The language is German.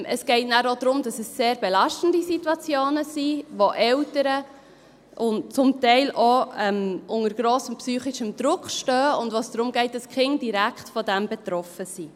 – Es geht nachher auch darum, dass es sehr belastende Situationen sind, die Eltern zum Teil auch unter grossem psychischen Druck stehen, und dass die Kinder direkt davonbetroffen sind.